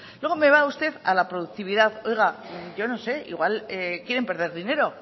luego me va usted a la productividad oiga yo no sé igual quieren perder dinero